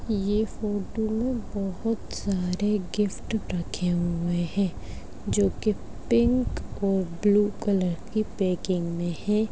ये फोटो मे बहुत सारे गिफ्ट रखे हुए है जो के पिंक और ब्लू कलर की पैकिंग मे है।